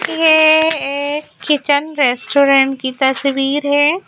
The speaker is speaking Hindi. ये एक किचन रेस्टोरेंट की तस्वीर है।